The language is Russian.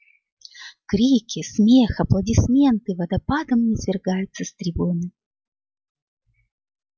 крики смех аплодисменты водопадом звергаются с трибуны